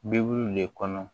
Bibuluw le kɔnɔ